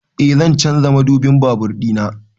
Eh zan canza madubin babur ɗina